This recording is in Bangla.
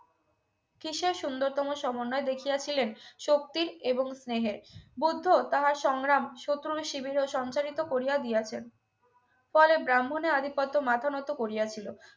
কিসের সুন্দরতম সমন্বয় দেখিয়াছিলেন শক্তির এবং স্নেহের বুদ্ধ তাহার সংগ্রাম শত্রু ও শিবিরে সঞ্চারিত করিয়া দিয়াছেন পরে ব্রাহ্মণের আধিপত্য মাথা নত করিয়াছিল